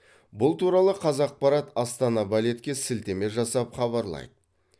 бұл туралы қазақпарат астана балетке сілтеме жасап хабарлайды